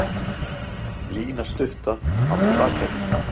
Lína stutta átti Bakaríið.